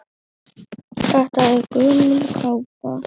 Þetta er gömul kápa.